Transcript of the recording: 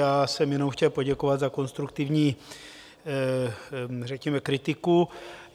Já jsem jenom chtěl poděkovat za konstruktivní, řekněme, kritiku.